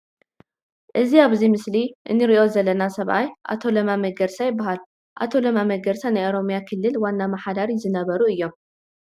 እዚ ኣብዚ ምስሊ እንርእዩ ዘለና ሰብኣይ ኣቶ ለማ መገርሳ ይባሃል። ኣቶ ለማ መገርሳ ናይ ኦሮምያ ክልል ዋና አመሓዳሪ ዝነበሩ እዮም።